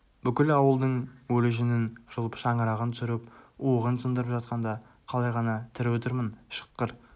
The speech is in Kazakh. бүкіл ауылдың өлі жүнін жұлып шаңырағын түсіріп уығын сындырып жатқанда қалай ғана тірі отырмын шыққыр